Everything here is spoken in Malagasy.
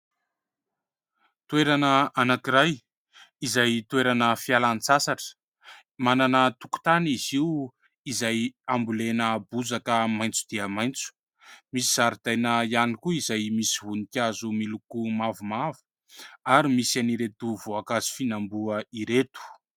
Toerana anankiray izay toerana fialan-tsasatra. Manana tokotany izy io, izay ambolena bozaka maitso dia maitso ; misy zaridaina ihany koa, izay misy voninkazo miloko mavomavo ary misy an'ireto voankazo fihinam-boa ireto.